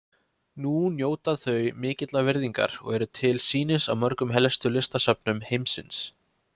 Nú njóta þau mikillar virðingar og eru til sýnis á mörgum helstu listasöfnum heimsins.